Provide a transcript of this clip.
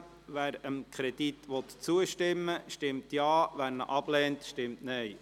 Wer dem Kredit zustimmen will, stimmt Ja, wer diesen ablehnt, stimmt Nein.